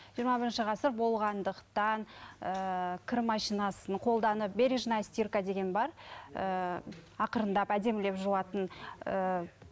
жиырма бірінші ғасыр болғандықтан ііі кір машинасын қолданып бережная стирка деген бар ііі ақырындап әдемілеп жуатын ііі